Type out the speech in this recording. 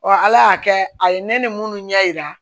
ala y'a kɛ a ye ne ni minnu ɲɛ yira